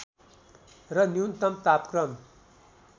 र न्यूनतम तापक्रम